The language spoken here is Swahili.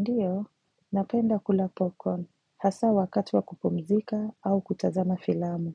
Ndiyo, napenda kula popcorn, hasa wakati wa kupumzika au kutazama filamu.